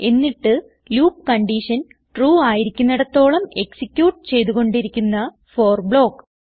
എന്നിട്ട് loopകൺഡിഷൻ ട്രൂ ആയിരിക്കുന്നിടത്തോളം എക്സിക്യൂട്ട് ചെയ്തു കൊണ്ടിരിക്കുന്ന ഫോർ ബ്ലോക്ക്